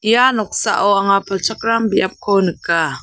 ia noksao anga palchakram biapko nika.